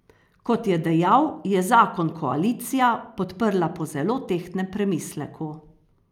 Kot je dejal, je zakon koalicija podprla po zelo tehtnem premisleku.